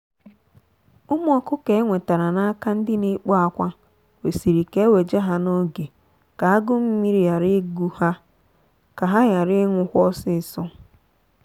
ụmụ ọkụkọ enwetere n'aka ndị na ekpo akwa kwesịrị ka eweje ha n'oge ka agu-mmiri gbara ịgụ ha ka ha ghara inwụkwa ọsịsọ.